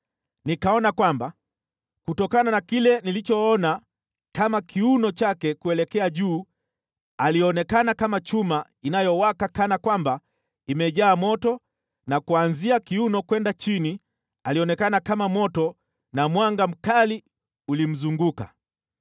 Nikaona kwamba kutokana na kile nilichoona kama kiuno chake kuelekea juu alionekana kama chuma inayowaka kana kwamba imejaa moto na kuanzia kiuno kwenda chini alionekana kama moto na mwanga mkali ulimzunguka.